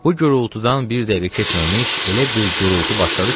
Bu gurultudan bir dəqiqə keçməmiş elə bir gurultu başladı ki,